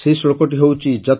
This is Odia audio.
ସେହି ଶ୍ଳୋକଟି ହେଉଛି